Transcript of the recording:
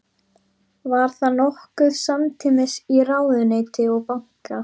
Var það nokkuð samtímis í ráðuneyti og banka.